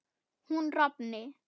hún rofni